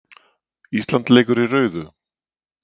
Ísland leikur í rauðu